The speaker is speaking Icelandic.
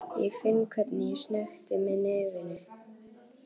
Ég finn hvernig ég snökti með nefinu.